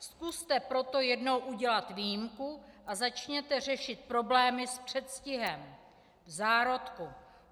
Zkuste proto jednou udělat výjimku a začněte řešit problémy s předstihem, v zárodku.